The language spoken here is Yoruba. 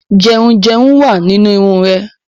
Dandruff is in her hair